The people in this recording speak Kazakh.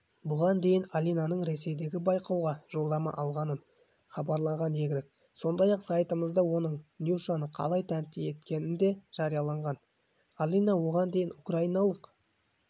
бұған дейін алинаның ресейдегі байқауға жолдама алғанын хабарлаған едік сондай-ақ сайтымызда оның нюшаны қалай тәнті еткені дежарияланған алина оған дейін украиналық